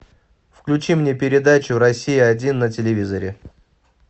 включи мне передачу россия один на телевизоре